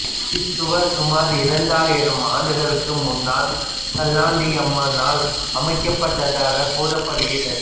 இச்சுவர் சுமார் இரண்டாயிரம் ஆண்டுகளுக்கு முன்னால் செல்லாண்டியம்மனால் அமைக்கப்பட்டதாக கூறப்படுகிறது